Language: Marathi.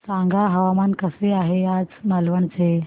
सांगा हवामान कसे आहे आज मालवण चे